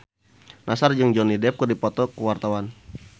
Nassar jeung Johnny Depp keur dipoto ku wartawan